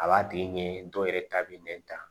A b'a tigi ɲɛ ye dɔw yɛrɛ ta bɛ nɛn ta